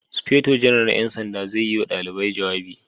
Sufeto Janar na 'yan sanda zai yi wa dalibai jawabi